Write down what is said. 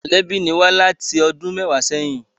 Mọ̀lẹ́bí ni wá láti ọdún méwàá sẹ́yìn